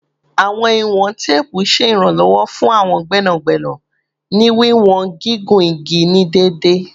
Awọn iwọn teepu ṣe iranlọwọ fun awọn gbẹnagbẹna ni wiwọn gigun igi ni deede